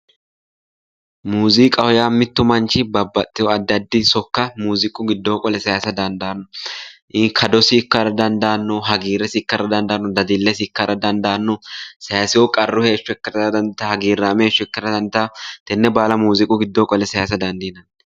Muziiqaho yaa mitu manchi babbaxeyo addi addi sokka muziiqu giddoni qole saysano dandaano kaddosi hagiiresi ikkara dandaano, dadilesi ikkara dandaano ,sayisino qarru doogo ikkara dandaano, hagiirame heeshsho ikkara dandaano tene baalla muziiqu widooni qolle saysa dandiinanni.